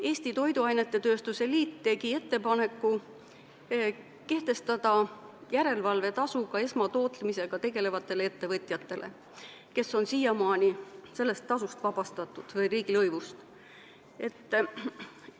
Eesti Toiduainetööstuse Liit tegi ettepaneku kehtestada järelevalvetasu ka esmatootmisega tegelevatele ettevõtjatele, kes on olnud siiamaani sellest tasust, riigilõivust vabastatud.